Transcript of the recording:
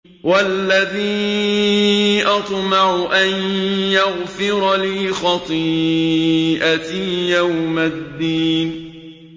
وَالَّذِي أَطْمَعُ أَن يَغْفِرَ لِي خَطِيئَتِي يَوْمَ الدِّينِ